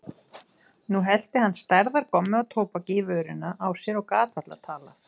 Nú hellti hann stærðar gommu af tóbaki í vörina á sér og gat varla talað.